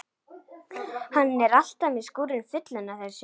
Hann er alltaf með skúrinn fullan af þessu.